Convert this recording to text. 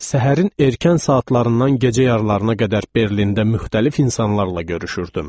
Səhərin erkən saatlarından gecə yarılarına qədər Berlində müxtəlif insanlarla görüşürdüm.